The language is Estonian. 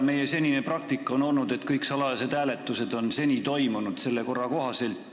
Meie senine praktika on olnud selline, et kõik salajased hääletused on toimunud selle korra kohaselt.